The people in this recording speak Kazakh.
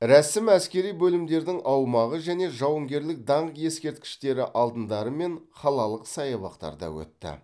рәсім әскери бөлімдердің аумағы және жауынгерлік даңқ ескерткіштері алдындары мен қалалық саябақтарда өтті